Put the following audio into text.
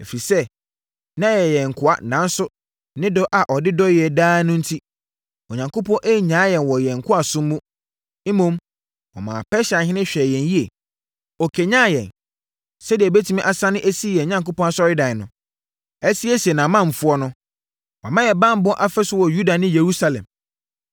Ɛfiri sɛ, na yɛyɛ nkoa nanso, ne dɔ a ɔde dɔ yɛn daa no enti, Onyankopɔn annyaa yɛn wɔ yɛn nkoasom mu. Mmom, ɔmaa Persiahene hwɛɛ yɛn yie. Ɔkanyanee yɛn, sɛdeɛ yɛbɛtumi asane asi yɛn Onyankopɔn asɔredan no, asiesie nʼamamfoɔ no. Wama yɛn banbɔ afasuo wɔ Yuda ne Yerusalem.